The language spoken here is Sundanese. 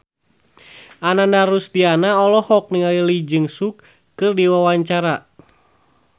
Ananda Rusdiana olohok ningali Lee Jeong Suk keur diwawancara